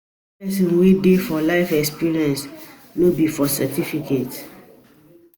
The real wisdom dey for life experience, no be for certificates.